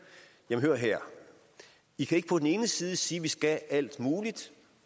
hør her i kan ikke på den ene side sige at vi skal alt muligt